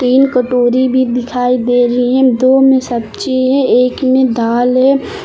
तीन कटोरी भी दिखाई दे रही हैं दो में सब्जी है एक में दाल है।